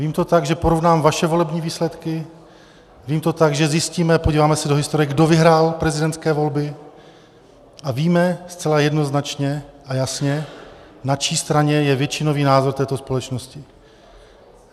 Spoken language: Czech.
Vím to tak, že porovnám vaše volební výsledky, vím to tak, že zjistíme, podíváme se do historie, kdo vyhrál prezidentské volby, a víme zcela jednoznačně a jasně, na čí straně je většinový názor této společnosti.